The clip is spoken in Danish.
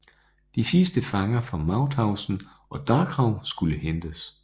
De sidste fanger fra Mauthausen og Dachau skulle hentes